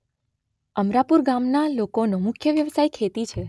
અમરાપુર ગામના લોકોનો મુખ્ય વ્યવસાય ખેતી છે.